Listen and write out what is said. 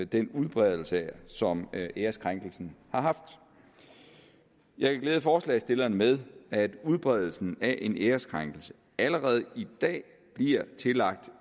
den udbredelse som æreskrænkelsen har haft jeg kan glæde forslagsstillerne med at udbredelsen af en æreskrænkelse allerede i dag bliver tillagt